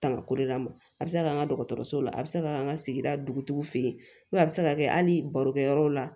Tanga ko de kama a bɛ se ka kɛ an ka dɔgɔtɔrɔsow la a bɛ se ka an ka sigida dugutigiw fɛ yen a bɛ se ka kɛ hali barokɛ yɔrɔ la